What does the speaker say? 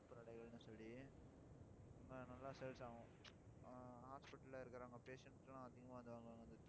சொல்லி அங்க நல்லா sales ஆகும் ஆஹ் hospital ல இருக்கிறவங்க patients க்குல்லாம் அதிகமாக வந்து வாங்குவாங்க